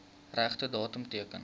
regte datum teken